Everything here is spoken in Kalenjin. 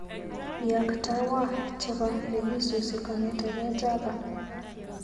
Iaktawa chebo nekisusi kong'eteke Java.